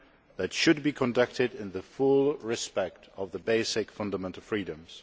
that should be conducted in full respect of the basic fundamental freedoms.